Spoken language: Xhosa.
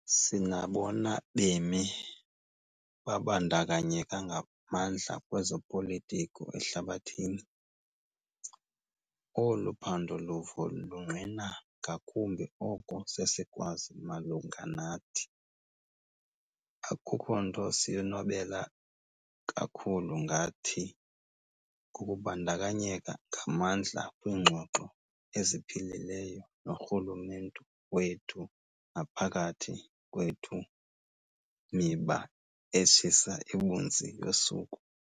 Sinabona bemi babandakanyeka ngamandla kwezopolitiko ehlabathini. Olu phando luvo lungqina ngakumbi oko sesikwazi malunga nathi. Akukho nto siyonwabela kakhulu ngathi kukubandakanyeka ngamandla kwiingxoxo eziphilileyo norhulumente wethu naphakathi kwethu kwimiba etshisa ebunzi ngosuku.